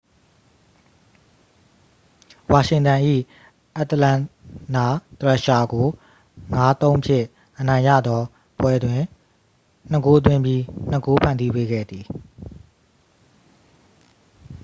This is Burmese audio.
ဝါရှင်တန်၏ အတ္တလန်နာသရက်ရှာကို 5-3 ဖြင့် အနိုင်ရသော ပွဲတွင် 2 ဂိုးသွင်းပြီး 2 ဂိုး ဖန်တီးပေးခဲ့သည်